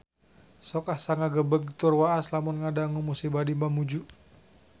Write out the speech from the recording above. Sok asa ngagebeg tur waas lamun ngadangu musibah di Mamuju